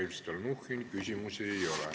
Aitäh, Mihhail Stalnuhhin!